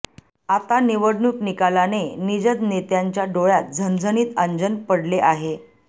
आता निवडणूक निकालाने निजद नेत्यांच्या डोळय़ात झणझणीत अंजन पडले आहे